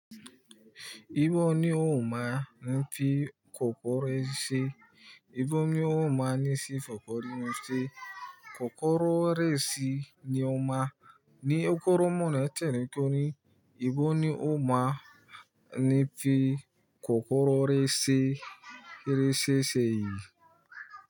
Ibo ni ó máa ń fi kòkòrò re si? Ibo ni ó máa ní sí kòkòrò resi? Kòkòrò resi ni ó máa ni kóró mọ̀nà tẹ̀lé torí ibo ni ó máa ń fi kòkòrò resi kiri séye.